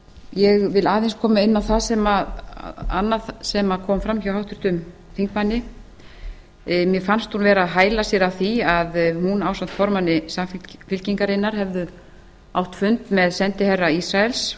ég vil aðeins koma inn á það sem kom fram hjá háttvirtum þingmanni mér fannst hún vera að hæla sér af því að hún ásamt formanni samfylkingarinnar hefðu átt fund með sendiherra ísraels